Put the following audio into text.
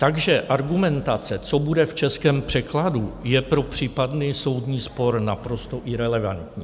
Takže argumentace, co bude v českém překladu, je pro případný soudní spor naprosto irelevantní.